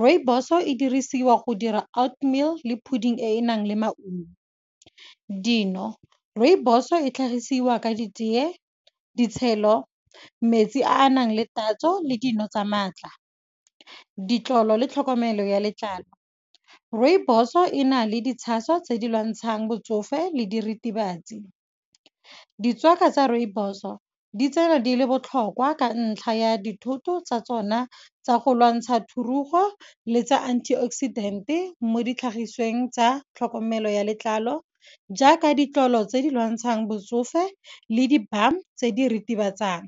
Rooibos-o e dirisiwa go dira oat meal le pudding e e nang le maungo. Dino, rooibos-o e tlhagisiwa ka ditee, ditshelo, metsi a a nang le tatso le dino tsa maatla, ditlolo le tlhokomelo ya letlalo. Rooibos-o ena le ditshaso tse di lwantshang botsofe le diritibatsi. Dtswaka tsa rooibos-o, ditsela di le botlhokwa, ka ntlha ya dithoto tsa tsona tsa go lwantsha thurugo le tsa anti oxidant-e, mo ditlhagisweng tsa tlhokomelo ya letlalo. Jaaka ditlolo tse di lwantshang botsofe le di-balm tse di ritibatsang.